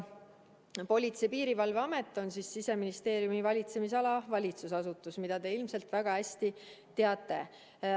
Politsei- ja Piirivalveamet on Siseministeeriumi valitsemisala valitsusasutus, mida te ilmselt väga hästi teate.